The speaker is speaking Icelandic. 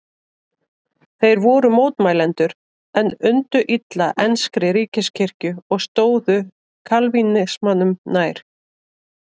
Þeir voru mótmælendur en undu illa enskri ríkiskirkju og stóðu kalvínismanum nær.